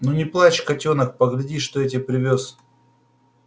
ну не плачь котёнок погляди что я тебе привёз